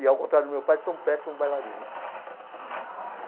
e, ao contrário do meu pai, sou um péssimo bailarino.